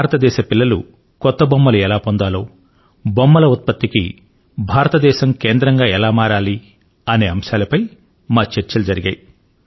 భారతదేశం లె బాలల కు కొత్త కొత్త ఆటబొమ్మలు ఎలా దొరకాలి భారతదేశం బొమ్మల ఉత్పత్తికి చాలా పెద్ద కేంద్రంగా ఎలా మారాలి అనే అంశాలపై మా చర్చలు జరిగాయి